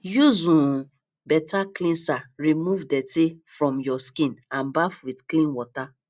use um better cleanser remove dirty from your skin and baff with clean water